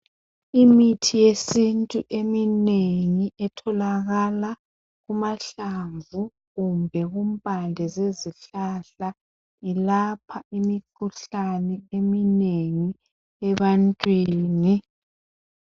Imithi yesintu eminengi etholakala kumahlamvu kumbe kumpande zezihlahla, yelapha imikhuhlane eminengi ebantwini.